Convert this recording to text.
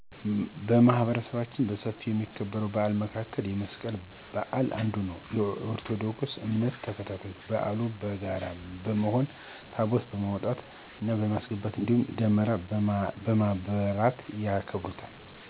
በማህበረሰባችን በሰፊ ከሚከበር በዓል መካከል የመስቀል በዓል አንዱ ነው። የኦርቶዶክስ እምነት ተከታዮች በዓሉን በጋራ በመሆን ታቦታትን በማውጣት እና በማስገባት እንዲሁም ደመራ በማብራት ያከብሩታል።